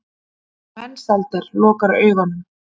Mensalder lokar augunum.